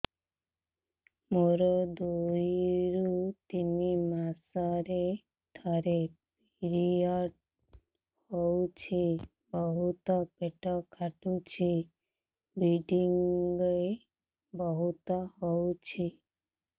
ମୋର ଦୁଇରୁ ତିନି ମାସରେ ଥରେ ପିରିଅଡ଼ ହଉଛି ବହୁତ ପେଟ କାଟୁଛି ବ୍ଲିଡ଼ିଙ୍ଗ ବହୁତ ହଉଛି